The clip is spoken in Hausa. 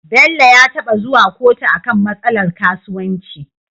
Bello ya taba zuwa kotu akan matsalar kasuwanci